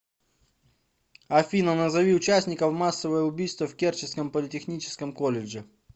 афина назови участников массовое убийство в керченском политехническом колледже